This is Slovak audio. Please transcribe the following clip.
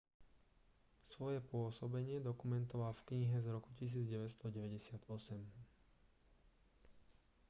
svoje pôsobenie dokumentoval v knihe z roku 1998